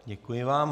Děkuji vám.